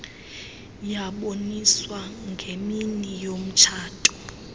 yaboniswa ngemini yomtshato